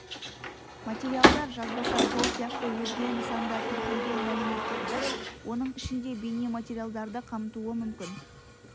материалдар жазбаша сол сияқты өзге нысанда тіркелген мәліметтерді оның ішінде бейнематериалдарды қамтуы мүмкін